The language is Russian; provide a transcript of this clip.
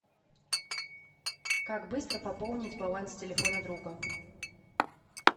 как быстро пополнить баланс телефона друга